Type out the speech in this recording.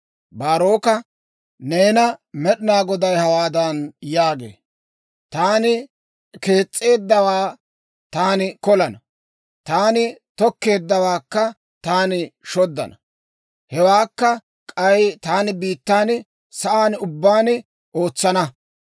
«Baaroka, neena Med'inaa Goday hawaadan yaagee; ‹Taani kees's'eeddawaa taani kolana; taani tokkeeddawaakka taani shoddana. Hewaakka k'ay taani biittan sa'aan ubbaan ootsana.